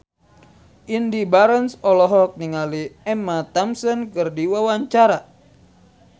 Indy Barens olohok ningali Emma Thompson keur diwawancara